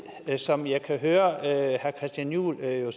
som jeg kan høre herre christian juhl nu